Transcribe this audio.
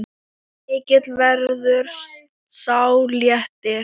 Mikill verður sá léttir.